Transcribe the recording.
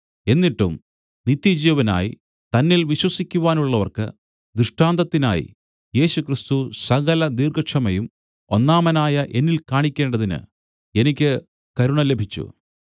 എന്നിട്ടും നിത്യജീവനായി തന്നിൽ വിശ്വസിക്കുവാനുള്ളവർക്ക് ദൃഷ്ടാന്തത്തിനായി യേശുക്രിസ്തു സകലദീർഘക്ഷമയും ഒന്നാമനായ എന്നിൽ കാണിക്കേണ്ടതിന് എനിക്ക് കരുണ ലഭിച്ചു